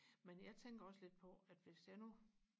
men jeg tænker også lidt på at hvis jeg nu